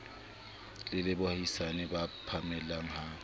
le baahisane ba phallela ha